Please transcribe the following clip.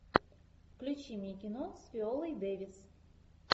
включи мне кино с виолой дэвис